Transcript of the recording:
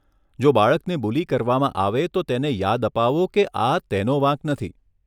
જો બાળકને બુલી કરવામાં આવે તો તેને યાદ અપાવો કે આ તેનો વાંક નથી.